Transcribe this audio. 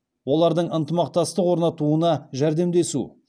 олардың ынтымақтастық орнатуына жәрдемдесу